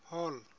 hall